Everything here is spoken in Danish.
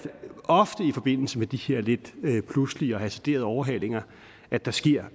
ofte i forbindelse med de her lidt pludselige og hasarderede overhalinger at der sker